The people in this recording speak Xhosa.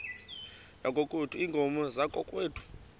yakokwethu iinkomo zakokwethu